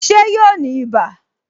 Ṣé yóò ní ibà